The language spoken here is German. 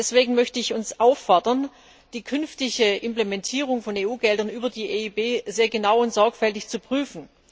Deswegen möchte ich uns auffordern, die künftige Implementierung von EU Geldern über die EIB sehr genau und sorgfältig zu prüfen.